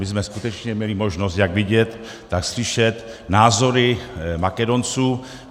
My jsme skutečně měli možnost jak vidět, tak slyšet názory Makedonců.